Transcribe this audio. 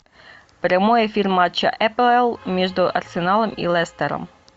прямой эфир матча апл между арсеналом и лестером